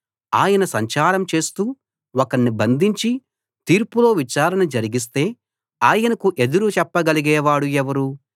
ఆయన సంచారం చేస్తూ ఒకణ్ణి బంధించి తీర్పులో విచారణ జరిగిస్తే ఆయనకు ఎదురు చెప్పగలిగేవాడు ఎవరు